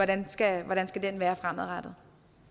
den skal være fremadrettet